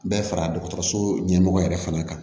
Bɛɛ fara dɔgɔtɔrɔso ɲɛmɔgɔ yɛrɛ fana kan